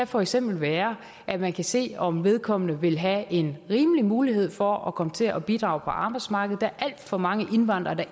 for eksempel være at man kan se om vedkommende vil have en rimelig mulighed for at komme til at bidrage på arbejdsmarkedet der er alt for mange indvandrere der